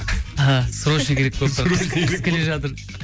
іхі срочно керек болып тұр қыс келе жатыр